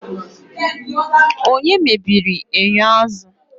Onye mebiri enyo azụ?